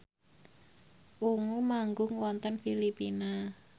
Ungu manggung wonten Filipina